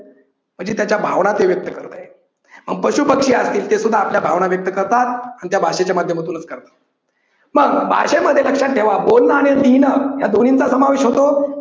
म्हणजे त्याच्या भावना ते व्यक्त करतय मग पशुपक्षी असतील ते सुद्धा आपल्या भावना व्यक्त करतात, आणि त्या भाषेच्या माध्यमातूनच करतात मग भाषेमध्ये लक्षात ठेवा बोलण आणि लिहिण ह्या दोन्हींचा समावेश होतो.